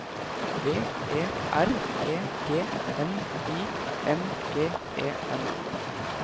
B E R E G N I N G E N